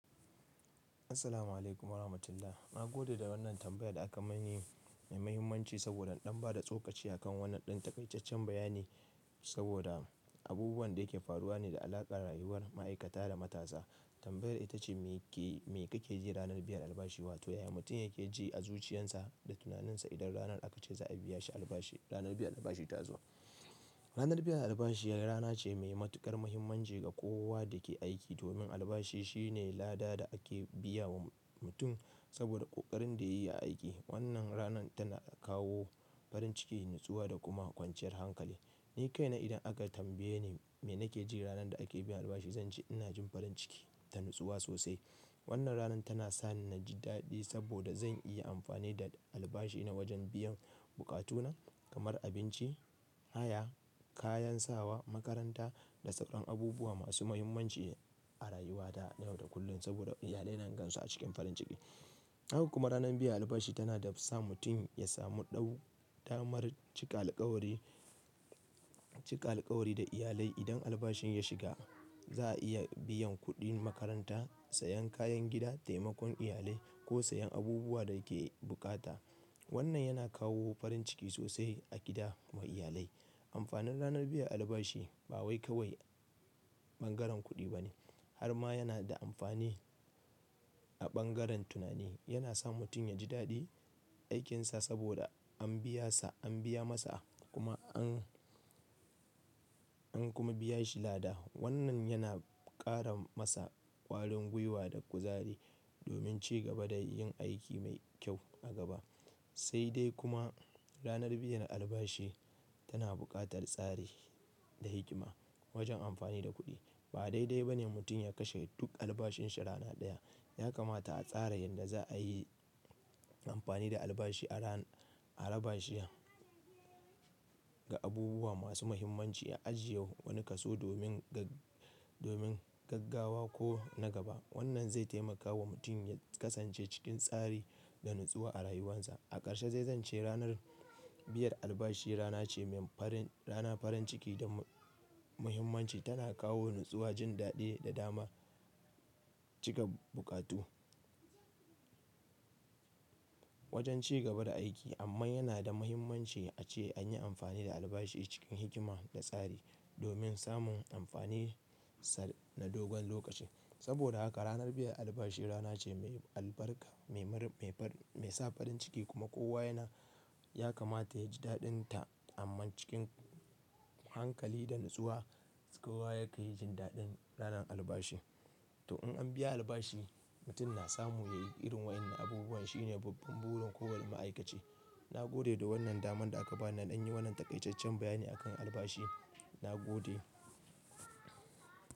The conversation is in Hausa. Assalamu'alaikum warahmatullahi. Na gode da wannan tambayar da aka yi. Mai mahimmanci saboda ɗan ba da tsokaci akan wannan ɗan taƙaiceccen bayani. Saboda abubuwan da yake faruwa ne da alaƙa da rayuwar ma'aikata da matasa. Tambayar ita ce, me kake ji ranar biyar albashi wato ya mutum yake ji a zuciyarsa da tunaninsa idan ranar aka ce za a biya shi albashi, ranar biyar albashi ta zo. Ranar biyar albashi rana ce mai matuƙar muhimmanci ga kowa da ke aiki. Domin albashi shine lada da ake biya wa mutum saboda ƙoƙarin da ya yi a aiki. Wannan ranar tana kawo farin ciki, natsuwa da kuma kwanciyar hankali. Ni kaina idan aka tambaye ni me nake ji ranar da ake biyan albashi, zance ina jin farin ciki da natsuwa sosai. Wannan ranar tana sani na ji daɗi saboda zan iya amfani da albashina wajen biyan buƙatuna kamar abinci, haya, kayan sawa, makaranta da sauran abubuwa masu mahimmanci a rayuwata na yau da kullum. Saboda iyalai na gansu a cikin farin ciki. Haka kuma ranar biyan albashi tana da sa mutum ya samu ɗau, damar cika alkawari, cika alkawari da iyalai. Idan albashin ya shiga za a iya biyan kuɗin makaranta, sayan kayan gida, taimakon iyali ko sayan abubuwa da yake bukata. Wannan yana kawo farin ciki sosai a gida ma iyalai. Amfanin ranar biyan albashi ba wai kawai bangaren kuɗi bane har ma yana da amfani a bangaren tunani. Yana sa mutum ya ji daɗi aikinsa saboda an biya sa, an biya masa kuma an, an kuma biya shi lada. Wannan yana ƙara masa ƙwarin gwiwa da kuzari domin cigaba da yin aiki mai kyau a gaba. Sai dai kuma ranar biyan albashi tana buƙatar tsari da hikima wajen amfani da kuɗi. Ba daidai bane mutum ya kashe duk albashinsa rana ɗaya. Ya kamata a tsara yadda za a yi amfani da albashi a ran, a rabashiya ga abubuwa masu mahimmanci a ajiye wani kaso domin gag, domin gaggawa ko na gaba. Wannan zai taimaka wa mutum ya kasance cikin tsari da natsuwa a rayuwarsa. A ƙarshe dai zance ranar biyar albashi rana ce mai farin, rana farin ciki da muhimmanci. Tana kawo natsuwa, jin daɗi da dama cika buƙatu wajen cigaba da aiki. Amma yana da mahimmanci ace an yi amfani da albashi cikin hikima da tsari domin samun amfaninsa na dogon lokaci. Saboda haka ranar biyar albashi rana ce mai albarka, mai mar, mai far, mai sa farin ciki kuma kowa yana, ya kamata ya ji daɗinta. Amma cikin hankali da natsuwa kowa yake jin daɗin ranar albashi. To in an biya albashi, mutum na samu ya yi irin waɗannan abubuwan shine babban burin kowane ma'aikace. Na gode da wannan daman da aka bani na yi wannan taƙaiceccen bayani akan albashi. Na gode.